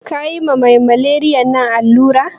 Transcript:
Kayi ma mai maleriyan nan allura?